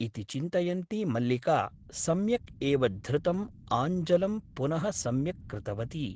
इति चिन्तयन्ती मल्लिका सम्यक् एव धृतम् आञ्चलं पुनः सम्यक् कृतवती ।